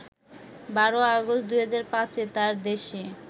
১২ August ২০০৫ এ তাঁর দেশে